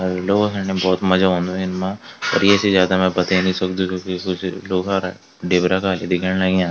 अर लोगों खण भोत मजा औंद इनमा पर ये से ज्यादा में बते नी सकदु क्यूंकि कुछ लोगारा ढेबरा का अग दिखेंण लग्याँ।